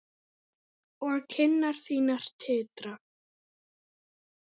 Og kinnar þínar titra.